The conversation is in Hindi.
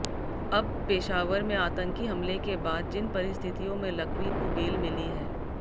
अब पेशावर में आतंकी हमले के बाद जिन परिस्थितियों में लखवी को बेल मिली है